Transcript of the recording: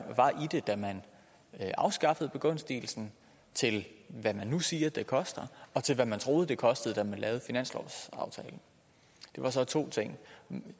var i det da man afskaffede begunstigelsen til hvad man nu siger det koster og til hvad man troede det kostede da man lavede finanslovsaftalen det var så to ting jeg